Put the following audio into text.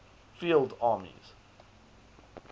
field armies